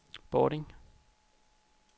Bording